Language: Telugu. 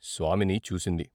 స్వామిని చూసింది.